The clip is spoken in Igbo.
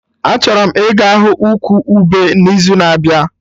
Achọrọ m ịga hụ ụkwụ ube n'izu na-abịa